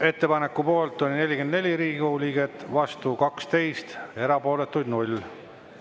Ettepaneku poolt oli 44 Riigikogu liiget, vastu 12, erapooletuid 0.